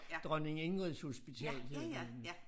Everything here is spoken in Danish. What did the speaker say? Dronning Ingrids Hospital hed det